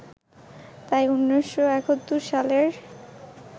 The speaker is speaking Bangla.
তাই ১৯৭১ সালের